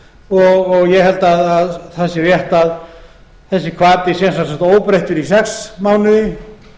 tólf mánuði ég held að það sé rétt að þessi hvati sé sem sagt óbreyttur í sex mánuði